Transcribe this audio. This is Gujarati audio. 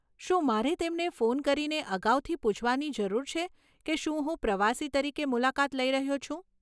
શું મારે તેમને ફોન કરીને અગાઉથી પૂછવાની જરૂર છે કે શું હું પ્રવાસી તરીકે મુલાકાત લઈ રહ્યો છું?